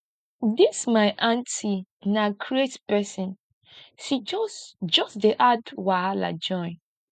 dis my auntie na craze pesin she just just dey add wahala join